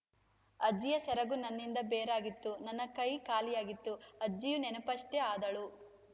ಅಜ್ಜಿಯ ಸೆರಗು ನನ್ನಿಂದ ಬೇರಾಗಿತ್ತು ನನ್ನ ಕೈ ಖಾಲಿಯಾಗಿತ್ತು ಅಜ್ಜಿಯು ನೆನಪಷ್ಟೇ ಆದಳು